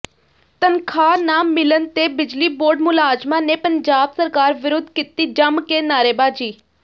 ਤਨਖਾਹ ਨਾ ਮਿਲਣ ਤੇ ਬਿਜਲੀ ਬੋਰਡ ਮੁਲਾਜਮਾਂ ਨੇ ਪੰਜਾਬ ਸਰਕਾਰ ਵਿਰੁੱਧ ਕੀਤੀ ਜੰਮ ਕੇ ਨਾਅਰੇਬਾਜ਼ੀ